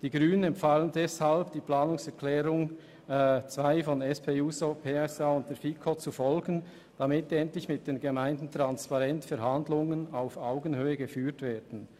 Die Grünen empfehlen deshalb, der Planungserklärung 1 der FiKo-Mehrheit zu folgen, damit endlich mit den Gemeinden transparent und auf Augenhöhe verhandelt wird.